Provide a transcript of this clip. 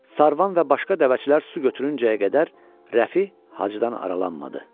Sarvan və başqa dəvəçilər su götürüncəyə qədər Rəfi Hacıdan aralanmadı.